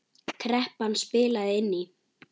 Kreppan spilaði inn í.